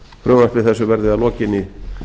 frumvarpi þessu verði að lokinni